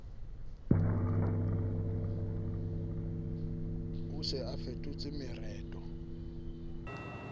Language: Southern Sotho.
o se a fetotse mereto